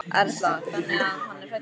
Erla: Þannig að hann er hræddur?